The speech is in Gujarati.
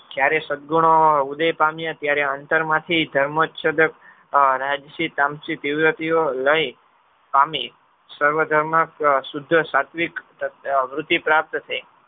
જયારે સદગુણો ઉદય પામ્યા ત્યારે આંતર માંથી ધર્મસુદક આહ લય પામી સર્વધર્મ શુદ્ધ સાત્વિક વૃદ્ધિ પ્રાપ્ત થઈ.